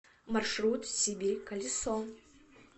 маршрут сибирь колесо